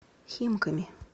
химками